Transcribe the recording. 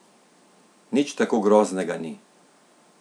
Nič tako groznega ni.